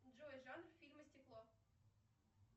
джой жанр фильма стекло